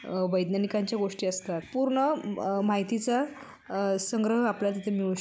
अह वैज्ञानिकां च्या गोष्टी असतात पूर्ण अम माहितीचा संग्रह आपल्या तिथे मिळू --